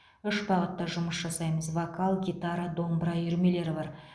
үш бағытта жұмыс жасаймыз вокал гитара домбыра үйірмелері бар